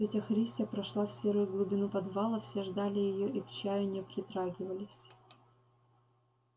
тётя христя прошла в серую глубину подвала все ждали её и к чаю не притрагивались